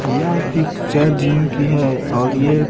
यह picture gym की है और ये--